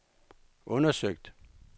undersøgt